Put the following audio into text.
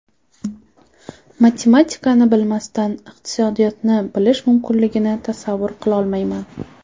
Matematikani bilmasdan iqtisodiyotni bilish mumkinligini tasavvur qilolmayman.